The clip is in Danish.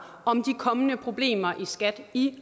om de kommende problemer i skat i